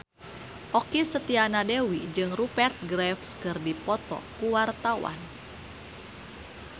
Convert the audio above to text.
Okky Setiana Dewi jeung Rupert Graves keur dipoto ku wartawan